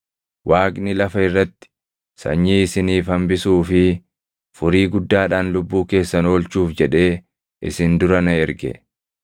Waaqni lafa irratti sanyii isiniif hambisuu fi furii guddaadhaan lubbuu keessan oolchuuf jedhee isin dura na erge.